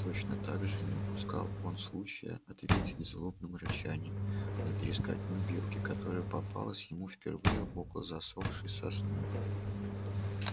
точно так же не упускал он случая ответить злобным рычанием на трескотню белки которая попалась ему впервые около засохшей сосны